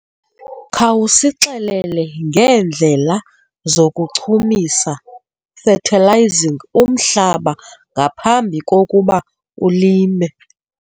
Khawusixelele ngeendlela zokuchumisa fertilizing umhlaba ngaphambi kokuba ulime.